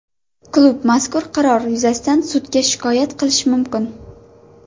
Klub mazkur qaror yuzasidan sudga shikoyat qilishi mumkin.